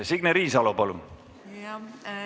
Signe Riisalo, palun!